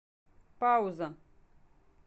пауза